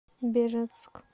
бежецк